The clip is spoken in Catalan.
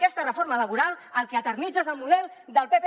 aquesta reforma laboral el que eternitza és el model del pp